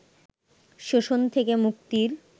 শোষণ থেকে মুক্তির